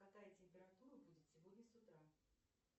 какая температура будет сегодня с утра